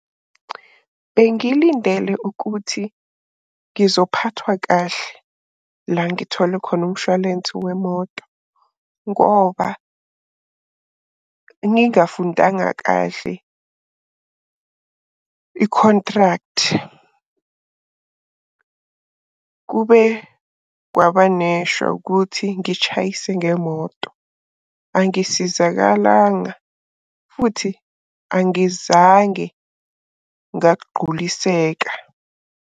Bengilindele ukuthi ngizophathwa kahle la ngithole khona umshwalense wemoto ngoba, ngingafundanga kahle i-contract. Kube kwabaneshwa ukuthi ngitshayise ngemoto. Angisizakalanga futhi angizange ngagquliseka.